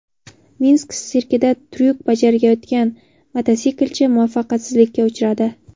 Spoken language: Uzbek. Minsk sirkida tryuk bajarayotgan mototsiklchi muvaffaqiyatsizlikka uchradi .